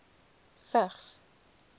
vigs